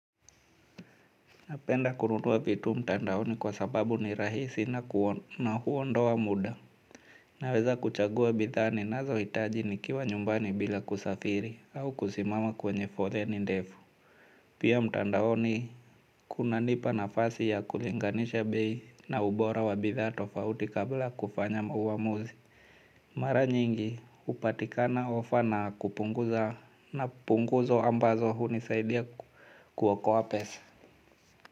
Napenda kununua vitu mtandaoni kwa sababu ni rahisi na huondoa muda. Naweza kuchagua bidhaa ninazohitaji nikiwa nyumbani bila kusafiri au kusimama kwenye foleni ni ndefu. Pia mtandaoni kunanipa nafasi ya kulinganisha bei na ubora wa bidhaa tofauti kabla kufanya uamuzi. Mara nyingi hupatikana ofa na kupunguza na punguzo ambazo hunisaidia kuokoa pesa.